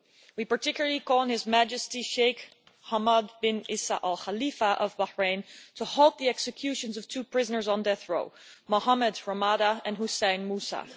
We particularly call on His Majesty Sheikh Hamad bin Isa Al Khalifa of Bahrain to halt the executions of two prisoners on death row, Mohammed Ramadan and Hussein Moussa.